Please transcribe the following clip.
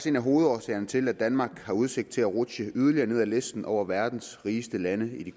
en af hovedårsagerne til at danmark har udsigt til at rutsje yderligere ned på listen over verdens rigeste lande i